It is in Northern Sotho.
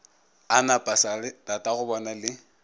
a na pasa tatagobona le